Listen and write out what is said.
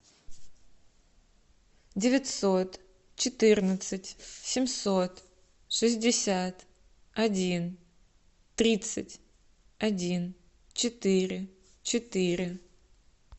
девятьсот четырнадцать семьсот шестьдесят один тридцать один четыре четыре